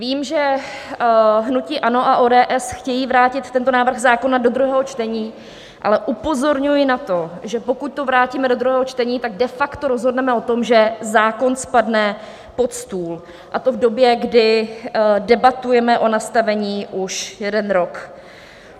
Vím, že hnutí ANO a ODS chtějí vrátit tento návrh zákona do druhého čtení, ale upozorňuji na to, že pokud to vrátíme do druhého čtení, tak de facto rozhodneme o tom, že zákon spadne pod stůl, a to v době, kdy debatujeme o nastavení už jeden rok.